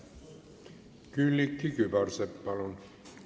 Külliki Kübarsepp, palun!